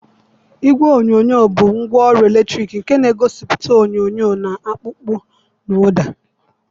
Igwe onyonyo bụ ngwaọrụ eletrọnịkị nke na-egosiputa onyonyo na-akpụ akpụ na ụda.